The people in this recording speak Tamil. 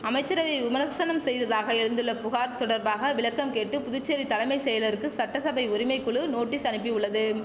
அமைச்சரவையை விமர்சனம் செய்ததாக எழுந்துள்ள புகார் தொடர்பாக விளக்கம் கேட்டு புதுச்சேரி தலமை செயலருக்கு சட்டசபை உரிமை குழு நோட்டீஸ் அனுப்பி உள்ளதும்